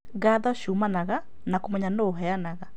Ngatho ciumanaga na kũmenya nũ ũheanaga